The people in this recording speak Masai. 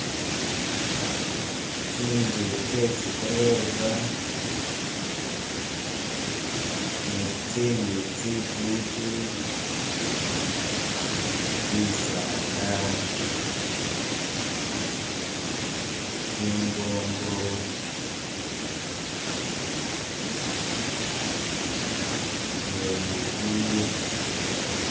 Tsinzu tse tsi golofa ne tsi tsindi tsifwiti, bisaala, tsingongo ne ligulu.